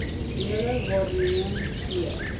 julle waarneem gee